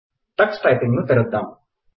Tux typing ను తెరుద్దాం